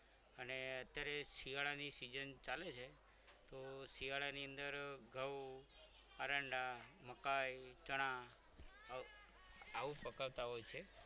અને અત્યારે શિયાળાની season ચાલે છે તો શિયાળાની અંદર ઘઉં એરંડા મકાઈ ચણા આવું પકવતા હોય છે.